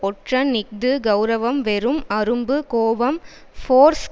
ஒற்றன் இஃது கெளரவம் வெறும் அரும்பு கோபம் ஃபோர்ஸ்